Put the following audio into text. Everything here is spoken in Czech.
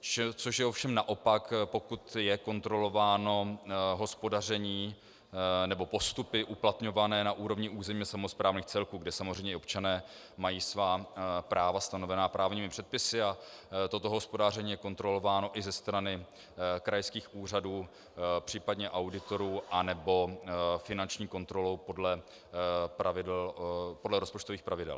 Což je ovšem naopak, pokud je kontrolováno hospodaření, nebo postupy uplatňované na úrovni územně samosprávných celků, kde samozřejmě i občané mají svá práva stanovená právními předpisy a toto hospodaření je kontrolováno i ze strany krajských úřadů, případně auditorů nebo finanční kontrolou podle rozpočtových pravidel.